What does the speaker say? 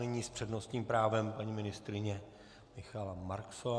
Nyní s přednostním právem paní ministryně Michaela Marksová.